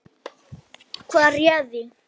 Hvað réði því?